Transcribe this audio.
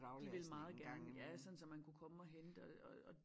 De vil meget gerne ja sådan så man kunne komme og hente og og og